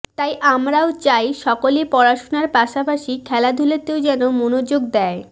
তাই আমরাও চাই সকলে পড়াশোনার পাশাপাশি খেলাধুলাতেও যেন মনোযোগ দেয়